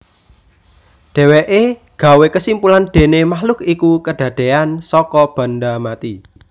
Dhéwéké gawé kesimpulan déné makhluk iku kedadéyan saka banda mati